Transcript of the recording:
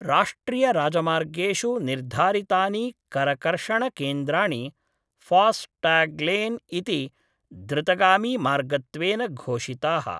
राष्ट्रियराजमार्गेषु निर्धारितानि करकर्षणकेन्द्राणि फास्टाग्लेन् इति द्रुतगामीमार्गत्वेन घोषिताः।